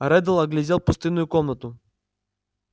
реддл оглядел пустынную комнату